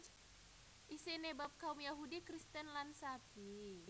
Isiné bab kaum Yahudi Kristen lan Sabi